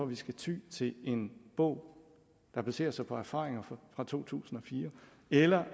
vi skal ty til en bog der baserer sig på erfaringer fra to tusind og fire eller